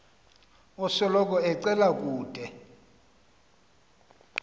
osoloko ecela ude